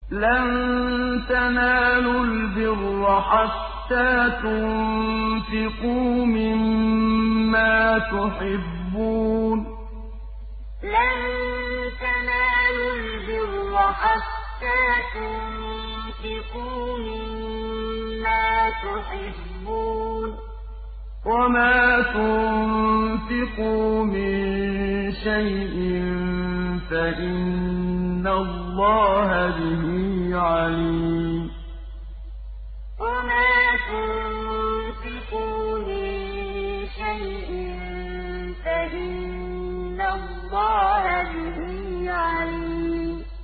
لَن تَنَالُوا الْبِرَّ حَتَّىٰ تُنفِقُوا مِمَّا تُحِبُّونَ ۚ وَمَا تُنفِقُوا مِن شَيْءٍ فَإِنَّ اللَّهَ بِهِ عَلِيمٌ لَن تَنَالُوا الْبِرَّ حَتَّىٰ تُنفِقُوا مِمَّا تُحِبُّونَ ۚ وَمَا تُنفِقُوا مِن شَيْءٍ فَإِنَّ اللَّهَ بِهِ عَلِيمٌ